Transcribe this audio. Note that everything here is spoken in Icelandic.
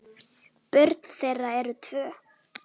Börn þeirra eru tvö.